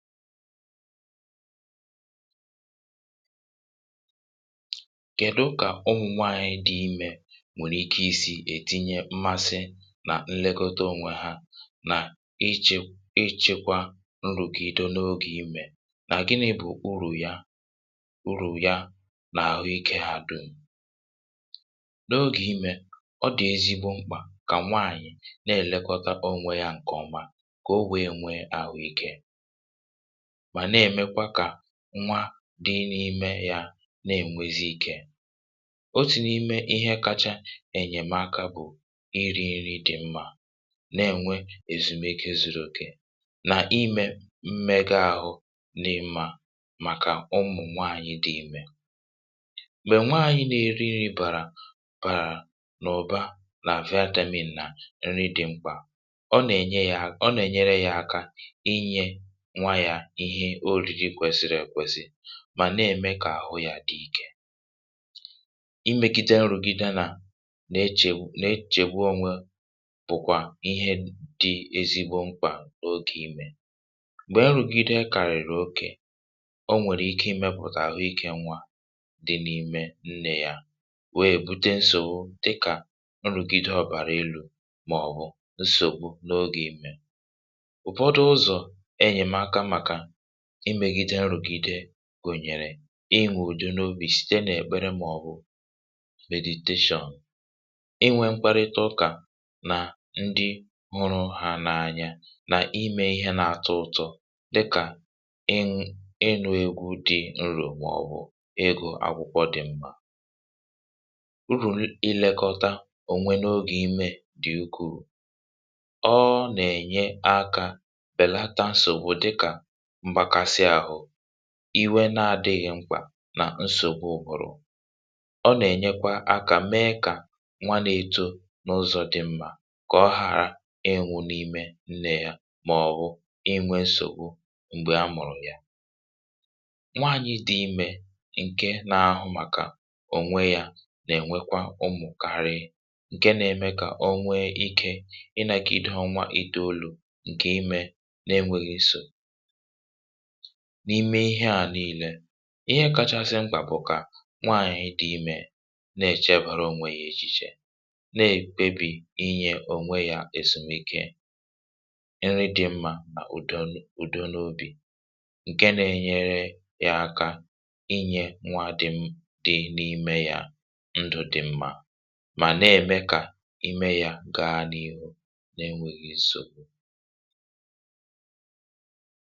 Kè dokà ụmụ̀ nwaànyị̀ dị imė nwèrè ike i sì ètinye mmasị, nà nlegọtȧ onwe ha, nà ichė ichekwa nrụ̀gide n’ogè imè nà gịnị̇ bụ̀ urù ya, urù ya n’àhụikė dum. N’ogè imè ọ dị̀ ezigbo mkpà kà nwaànyị̀ na-èlekọta onwe ya ǹkèọma kà o wee nwee àhụikė, mà nà-emèkwá kà nwa dị n’ime yȧ na-ènwezi ikė. Otù n’ime ihe kacha ènyèmaka bụ̀; ịrị̇ ịrị dị̀ mmȧ, na-ènwe èzùmeke zụrụ òkè nà ịmė mmega ȧhụ̇ n’ịmȧ màkà ụmụ̀ nwaànyị dị imė. Gbè nwaànyị na-èrị nri bàrà bàrà nà ọ̀ba n’àfịa nà nri dị̀ mkpà, ọ nà-ènye yȧ ọ nà-ènyere yȧ aka ịnyé nwá yá ihé oriri kwesịrị ekwesị mà nà-ème kà àhụ yȧ dị ikė. Imegide nrùgide nà na-echègwu na-echègwu onwe bụ̀kwà ihe dị ezigbo mkpà n’ogè imė. Gbèe nrùgide kàrà ìrù okè, o nwèrè ike imėpụ̀tà àhụikė nwa dị n’ime nnè ya wèe bụte nsògbu dịkà, nrùgide ọbàrà elu̇ màọ̀bụ̀ nsògbu n’ogè imė. Ụfọdụ ụzọ ényèmààká màkà imėgide nrùgide gùnyèrè; inwè udinòbì site n’èkpere màọbụ, inwė mkparịta ụkà nà ndị nrụ hà n’anya nà imė ihe na-atọ ụtọ dịkà, ịṅụ ịṅụ egwù dị nrù màọbụ̀ igụ akwụkwọ dị̇ mkpà. Úrù ilekọta onwe n’ogè ime dị̀ ukwuu, ọọ̇ nà-ènye akȧ bèlata nsògbu dịkà, mgbakasị ahụ̇, iwe na-adị̇ghị̇ mkpà nà nsògbu ụbụ̀rụ̀. Ọ nà-ènyekwa akȧ mee kà nwa na-eto n’ụzọ̇ dị mmȧ, kà ọ hàra ịnwụ̇ n’ime nnè ya màọ̀bụ̀ inwe nsògbu m̀gbe a mụ̀rụ̀ ya. Nwaànyị dị imė ǹke nȧ-ȧhụ̇ màkà ònwe yȧ nà-ènwekwa ụmụ̀kàrịị, ǹke nȧ-ėmė kà o nwee ikė ịnȧkị̇ ịnȧkị̇ ịdụ̇ ọnwȧ idȯ òlù ǹkè imė na-enwėghi̇sò. N’ime ihe à niile, ihe kachasị mkpà bụ̀ kà nwaànyị̀ dị imė na-èchebàra ònwe yá echìchè, na-ekpébì inye ònwe yȧ èsùmike, nri dị mmȧ nà ùdo n’obì, ǹke na-enyere yȧ aka inye nwȧ dị di n’ime yȧ ndụ̀ dị mmȧ mà na-ème kà ime yȧ gaa n’ihu na-enwėghi̇ nsogbu.